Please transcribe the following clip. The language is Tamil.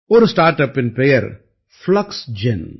ஒரு ஸ்டார்ட் அப்பின் பெயர் பிளக்ஸ்ஜென்